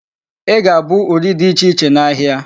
Ị ga-abụ uri dị ichè iche n"ahịa.a.